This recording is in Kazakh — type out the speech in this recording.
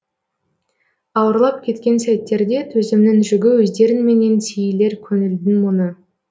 ауырлап кеткен сәттерде төзімнің жүгі өздеріңменен сейілер көңілдің мұңы